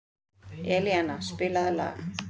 Elíana, spilaðu lag.